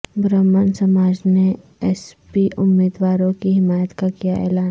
برہمن سماج نے ایس پی امیدواروں کی حمایت کا کیااعلان